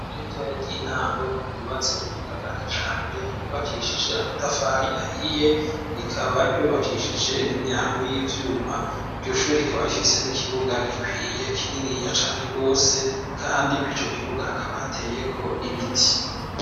W ritoya ry'intango ryubatse ku buhinga bwa kijambere ryubakishije amatafari ahiye rikaba ryubakishije n'imyango y'ivyuma iryushuru rikaba rifise n'ikibuga gikwiye kininiya cane rwose, kandi ko'ico kibuga hakaba hateyeko ibiti.